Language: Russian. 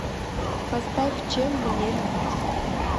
поставь чем мне любить